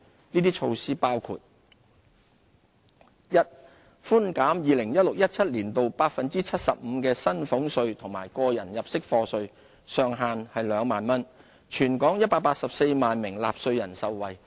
這些措施包括︰一寬減 2016-2017 年度 75% 的薪俸稅和個人入息課稅，上限為2萬元，全港184萬名納稅人受惠。